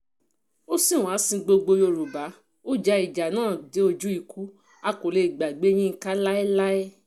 ó sìn wá ó sin gbogbo yorùbá ó ja ìjà náà dé ojú ikú a kò lè gbàgbé yinka láéláé